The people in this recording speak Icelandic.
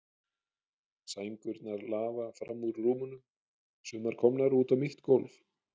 Sængurnar lafa fram úr rúmunum, sumar komnar út á mitt gólf.